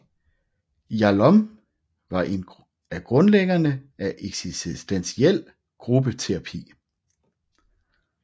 Yalom var en af grundlæggerne af eksistentiel gruppeterapi